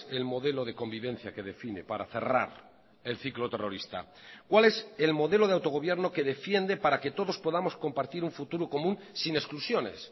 el modelo de convivencia que define para cerrar el ciclo terrorista cuál es el modelo de autogobierno que defiende para que todos podamos compartir un futuro común sin exclusiones